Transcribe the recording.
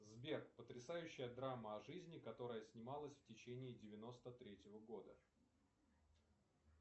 сбер потрясающая драма о жизни которая снималась в течении девяносто третьего года